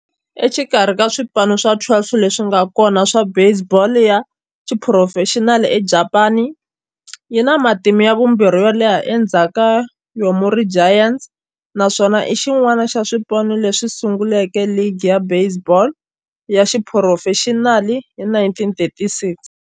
Exikarhi ka swipano swa 12 leswi nga kona swa baseball ya xiphurofexinali eJapani, yi na matimu ya vumbirhi yo leha endzhaku ka Yomiuri Giants, naswona i xin'wana xa swipano leswi sunguleke ligi ya baseball ya xiphurofexinali hi 1936.